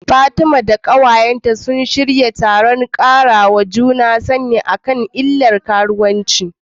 Fatima da ƙawayenta sun shirya taron ƙarawa juna sani a Katsina akan illar karuwanci.